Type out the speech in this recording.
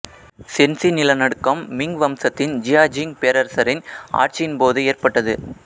சென்சி நிலநடுக்கம் மிங் வம்சத்தின் ஜியாஜிங் பேரரசரின் ஆட்சியின் போது ஏற்பட்டது